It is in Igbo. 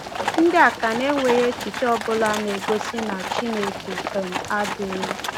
Ndị Akan enweghị echiche ọbụla na-egosi na Chineke um adịghị.